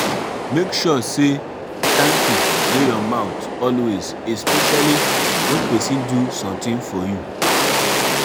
make sure say thank you de your mouth always especially when persin do something for you